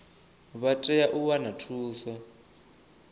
vha tea u wana thuso